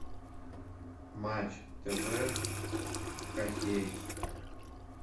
матч тв хоккей